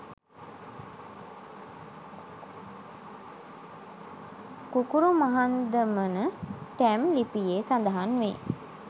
කුකුරුමහන්දමන ටැම් ලිපියේ සඳහන්වේ.